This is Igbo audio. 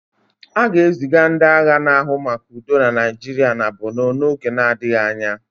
A ga-eziga ndị agha na-ahụ maka udo na Naịjirịa na Bornu n'oge adịghị anya.